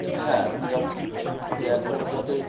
হ্যাঁ যাতে যে একদম যাতে